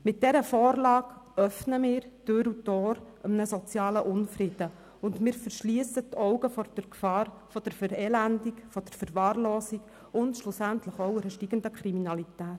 Mit dieser Vorlage öffnen wir einem sozialen Unfrieden Tür und Tor und verschliessen die Augen vor der Gefahr der Verelendung, der Verwahrlosung und schlussendlich auch einer steigenden Kriminalität.